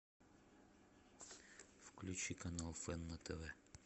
включи канал фэн на тв